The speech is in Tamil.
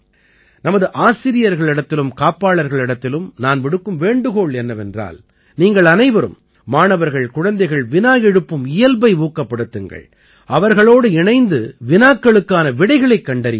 நமது ஆசிரியர்களிடத்திலும் காப்பாளர்களிடத்திலும் நான் விடுக்கும் வேண்டுகோள் என்னவென்றால் நீங்கள் அனைவரும் மாணவர்கள்குழந்தைகள் வினா எழுப்பும் இயல்பை ஊக்கப்படுத்துங்கள் அவர்களோடு இணைந்து வினாக்களுக்கான விடைகளைக் கண்டறியுங்கள்